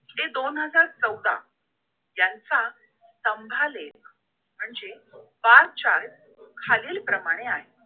ते दोन हजार चौदा यांचा स्तंभालेख म्हणजे bar chart खालील प्रमाणे आहे